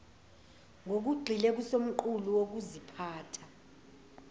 ngokugxile kusomqulu wokuziphatha